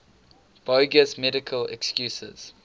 bogus medical excuses